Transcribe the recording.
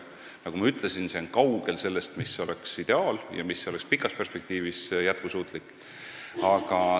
Nagu ma ütlesin, see on kaugel sellest, mis oleks ideaal ja mis oleks pikas perspektiivis jätkusuutlik.